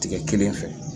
Tigɛ kelen fɛ